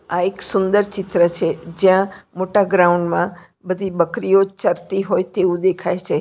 આ એક સુંદર ચિત્ર છે જ્યાં મોટા ગ્રાઉન્ડ માં બધી બકરીઓ ચરતી હોય તેવું દેખાય છે.